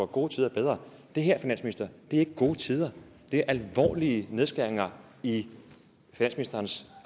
gode tider bedre det her finansminister er ikke gode tider det er alvorlige nedskæringer i finansministerens